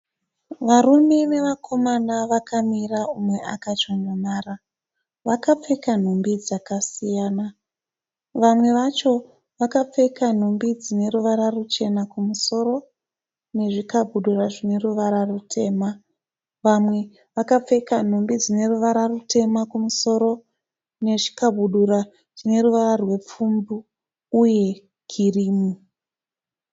Varume nevakomana vakamira umwe akachonjomara. Vakapfeka nhumbi dzakasiyana. Vamwe vacho vakapfeka nhumbi dzineruvara ruchena kumusoro nezvikabudura zvinemavara rutema, vamwe vakapfeka nhumbi dzineruvara rutema kumusoro nechikabudura chinemavara rupfumbu Uye kirimu.